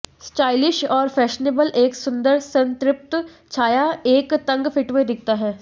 stylish और fashionable एक सुंदर संतृप्त छाया एक तंग फिट में दिखता है